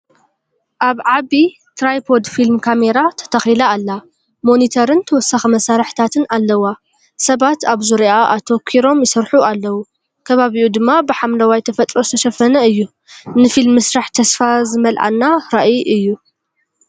ኣብ ዓቢ ትራይፖድ ፊልም ካሜራ ተተኺላ ኣላ፣ ሞኒተርን ተወሳኺ መሳርሕታትን ኣለዋ። ሰባት ኣብ ዙርያኣ ኣተኲሮም ይሰርሑ ኣለዉ፡ ከባቢኡ ድማ ብሓምለዋይ ተፈጥሮ ዝተሸፈነ እዩ። ንፊልም ምስራሕ ተስፋ ዝመልኣና ራእይ'ዩ።